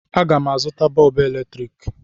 Aga m azụ bọọbụ eletrik.